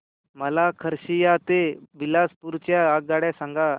मला खरसिया ते बिलासपुर च्या आगगाड्या सांगा